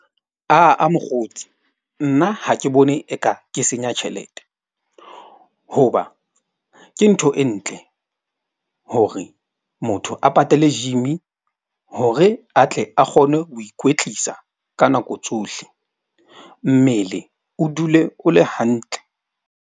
Ah-ah mokgotsi nna ha ke bone eka ke senya tjhelete. Hoba ke ntho e ntle. Hore motho a patale gym-i hore a tle a kgone ho ikwetlisa ka nako tsohle, mmele o dule o le hantle.